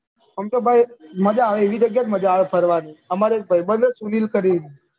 એમ તો ભાઈ મજા આવે એવી જગ્યા મજા આવે અમારે એક ભાઈ હે સુનીલ કરી ને